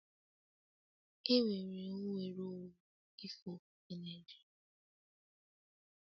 Enwere nnwere onwe ife ofufe na Naịjirịa